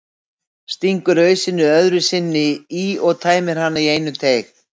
Stingur ausunni öðru sinni í og tæmir hana í einum teyg.